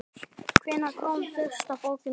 Hvenær kom fyrsta bókin út?